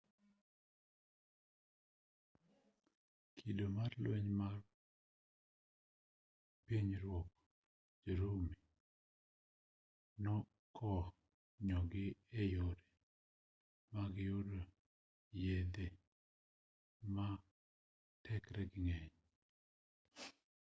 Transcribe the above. kido mar lweny mar pinyruodh jo-rumi nokonyogi e yore mag yudo yedhe matekregi ng'eny